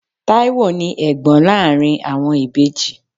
Taiwo ni Ẹ̀gbọ́n láàárín àwọn ìbejì.